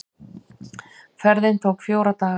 Ferðin tók fjóra daga.